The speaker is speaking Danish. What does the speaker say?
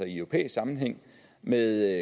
i europæisk sammenhæng med